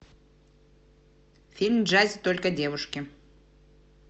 фильм в джазе только девушки